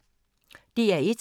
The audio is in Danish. DR1